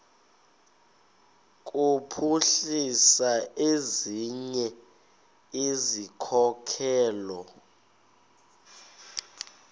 kuphuhlisa ezinye izikhokelo